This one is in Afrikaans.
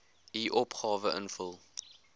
u opgawe invul